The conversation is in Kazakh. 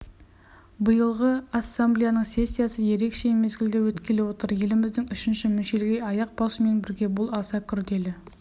биылғы ассамблеяның сессиясы ерекше мезгілде өткелі отыр еліміздің үшінші мүшелге аяқ басумен бірге бұл аса күрделі